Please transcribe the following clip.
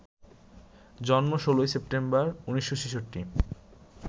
জন্ম ১৬ সেপ্টেম্বর, ১৯৬৬